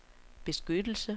beskyttelse